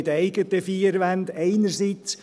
Ich wohne in den eigenen vier Wänden, einerseits.